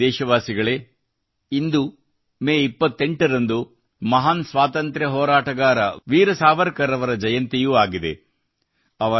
ನನ್ನ ಪ್ರೀತಿಯ ದೇಶವಾಸಿಗಳೇ ಇಂದು ಮೇ 28 ರಂದು ಮಹಾನ್ ಸ್ವಾತಂತ್ರ್ಯ ಹೋರಾಟಗಾರ ವೀರ ಸಾವರ್ ಕರ್ ಅವರ ಜಯಂತಿಯೂ ಆಗಿದೆ